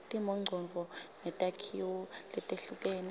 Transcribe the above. timongcondvo netakhiwo letehlukene